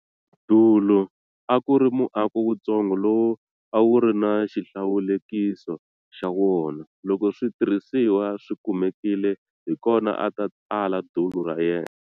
Dulu a ku ri muako wuntsongo lowu a wu ri na xihlawulekiso xa wona. Loko switirhisiwa swi kumekile hi kona a ta tsala dulu ra yena.